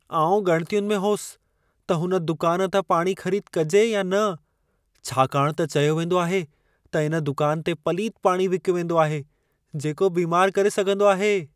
आउं ॻणितियुनि में होसि त हुन दुकान तां पाणी ख़रीद कजे या न। छाकाणि त चयो वेंदो आहे त इन दुकान ते पलीत पाणी विकियो वेंदो आहे, जेको बीमार करे सघंदो आहे।